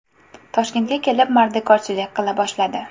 Toshkentga kelib, mardikorchilik qila boshladi.